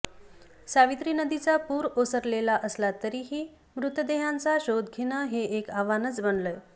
सावित्री नदीचा पूर ओसरलेला असला तरीही मृतदेहांचा शोध घेणं हे एक आव्हान बनलंय